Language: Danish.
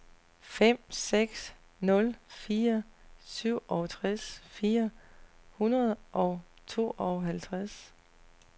fem seks nul fire syvogtres fire hundrede og tooghalvtreds